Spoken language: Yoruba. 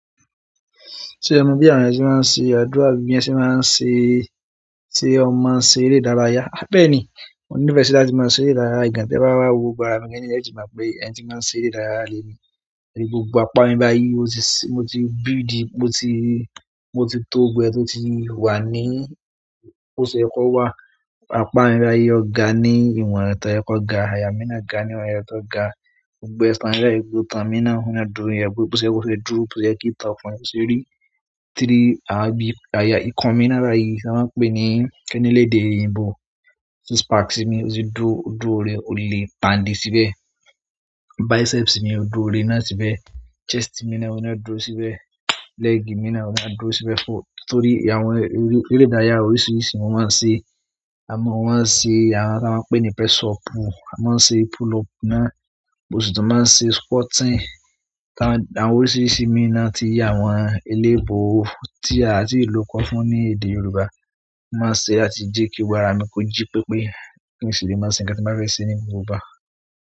Ṣé o mọ bí àwọn ẹni tí máa ń ṣe àdúrà bí i ẹni ṣe máa ń ṣe, tí ẹ máa ń ṣe eré ìdárayá. Bẹ́ẹ̀ ni, oní fẹsẹ́ là tí máa ń ṣe eré ìdárayá. Ìgàn tí ẹ bá wá wo ara mi gẹ́gẹ́ ní ẹ ti mọ̀ pé ẹni tí máa ń ṣe eré ìdárayá le ni. Ìdí gbogbo apá mi báyìí mo ti bíi ìdí mo ti tó gbogbo tó ti wà ní, bó ṣe ẹ kọ́ wà. Apá mi báyìí ọ̀gá ni, ìwọ̀n ọ̀tọ̀ ẹ kọ ga, àyà mí náà ga ni, ọ̀nà ọ̀tọ̀ ga. Gbogbo ìtàn bayi, gbogbo itán mí náà ń dúró ni. Bó ṣe ẹ kọ́ ṣe dúró, bó ṣe ye kí ítán ọkùnrin, bó ṣe ẹ rí. Tí rí, àbí àyà ikọ̀ mi náírà yìí tí a máa ń pè ní kéníléde ìyìnbó. Six pack mi, ó ti dúró, ó dúró rẹ, ó le pàǹdì síbẹ̀. Biceps mi, ó dúró rẹ náà síbẹ̀. Chest mi náà, óun náà dúró síbẹ̀. Leg mi náà, ó dúró síbẹ̀ fọ. Nítorí àwọn eré ìdárayá oríṣiríṣi mo máa ń ṣe. A mọ̀ wọ́n ṣe àwọn tí a máa ń pè ní press up, a máa ń ṣe pull up náà, mo sì tún máa ń ṣe squatting. Àwọn oríṣiríṣi mí náà ti yí àwọn eléèbò tí a ti lò kọ fún ní èdè Yorùbá. Mo máa ń ṣe á ti jẹ́ kí ara mi kọ jí pé pé kí nì ṣe lè máa ṣe ǹkan tí màá fẹ́ ṣe ní gbogbo àwọn.